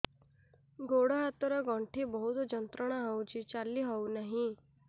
ଗୋଡ଼ ହାତ ର ଗଣ୍ଠି ବହୁତ ଯନ୍ତ୍ରଣା ହଉଛି ଚାଲି ହଉନାହିଁ